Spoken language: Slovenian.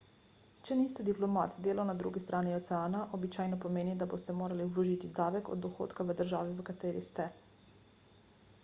če niste diplomat delo na drugi strani oceana običajno pomeni da boste morali vložiti davek od dohodka v državi v kateri ste